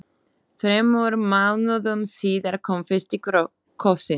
Þremur mánuðum síðar kom fyrsti kossinn.